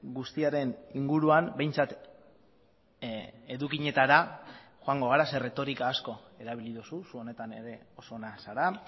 guztiaren inguruan behintzat edukietara joango gara ze erretorika asko erabili duzu zu honetan ere oso ona zara